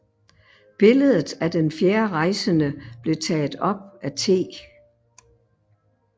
Billedet af den fjerde rejsende blev taget op af T